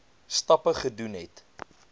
stappe gedoen het